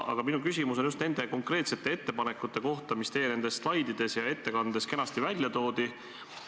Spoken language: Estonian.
Aga minu küsimus on just nende konkreetsete ettepanekute kohta, mis teie slaididel ja ettekandes kenasti välja olid toodud.